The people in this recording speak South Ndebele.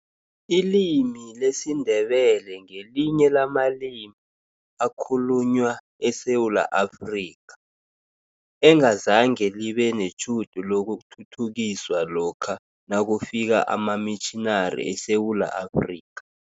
Ilimi lesiNdebele ngelinye lamalimi ekhalunywa eSewula Afrika, engazange libe netjhudu lokuthuthukiswa lokha nakufika amamitjhinari eSewula Afrika.